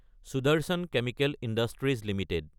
Sudarshan chemical industries Ltd